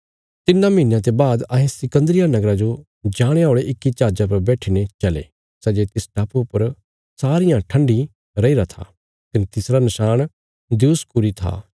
तिन्नां महीनयां ते बाद अहें सिकन्दरिया नगरा जो जाणे औल़े इक्की जहाजा पर बैठीने चले सै जे तिस टापुये पर सारियां ठन्ठी रैईरा था कने तिसरा नशाण दियुसकुरी था